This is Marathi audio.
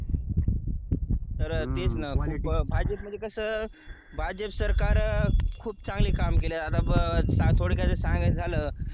तर तेच ना भाजप मध्ये कसं भाजप सरकार खूप चांगलं काम केलं आता थोडक्यात काही सांगायचं झालं